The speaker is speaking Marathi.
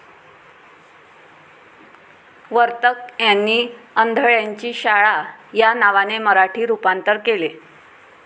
वर्तक यांनी अंधळ्यांची शाळा या नावाने मराठी रुपांतर केले.